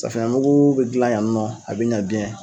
Safinɛ mugu bɛ gilan yan nɔ a bɛ ɲɛ